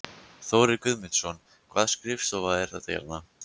Þórir Guðmundsson: Hvaða skrifstofa er þetta hérna?